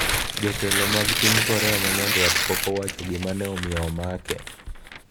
Jotelo mag piny Korea ma Nyanduat pok owacho gima ne omiyo omakie.